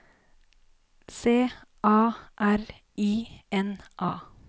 C A R I N A